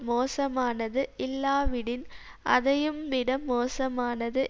மோசமானது இல்லாவிடின் அதையும்விட மோசமானது